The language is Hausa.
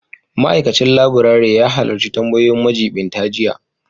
Ma'aikacin laburare ya halarci tambayoyin majiɓinta jiya